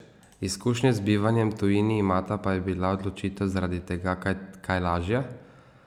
Izkušnje z bivanjem tujini imata, pa je bila odločitev zaradi tega kaj lažja?